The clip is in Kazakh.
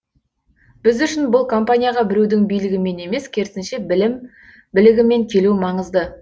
біз үшін бұл компанияға біреудің билігімен емес керісінше білім білігімен келу маңызды